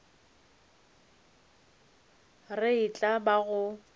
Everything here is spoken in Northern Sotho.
re e tla ba go